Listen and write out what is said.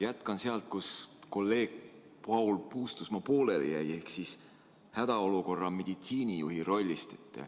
Jätkan sealt, kus kolleeg Paul Puustusmaa pooleli jäi, ehk hädaolukorra meditsiinijuhi rollist.